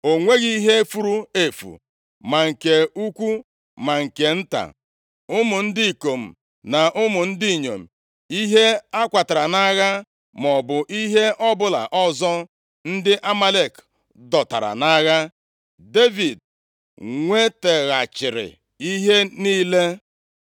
O nweghị ihe furu efu, ma nke ukwu ma nke nta, ụmụ ndị ikom na ụmụ ndị inyom, ihe a kwatara nʼagha, maọbụ ihe ọbụla ọzọ ndị Amalek dọtara nʼagha. Devid nwetaghachiri ihe niile.